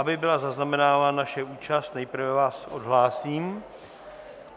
Aby byla zaznamenána naše účast, nejprve vás odhlásím.